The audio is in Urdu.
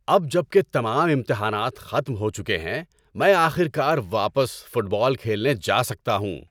اب جب کہ تمام امتحانات ختم ہو چکے ہیں میں آخر کار واپس فٹ بال کھیلنے جا سکتا ہوں۔